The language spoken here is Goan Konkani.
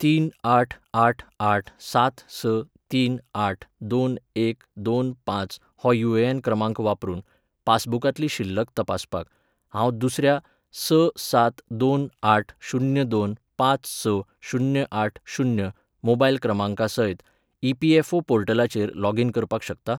तीन आठ आठ आठ सात स तीन आठ दोन एक दोन पांच हो युएएन क्रमांक वापरून, पासबुकांतली शिल्लक तपासपाक, हांव दुसऱ्या स सात दोन आठ शुन्य दोन पांच स शुन्य आठ शुन्य मोबायल क्रमांकासयत ईपीएफओ पोर्टलाचेर लॉगिन करपाक शकतां?